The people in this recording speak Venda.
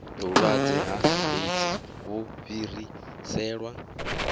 vhulwadze ha eidzi vhu fhireselwa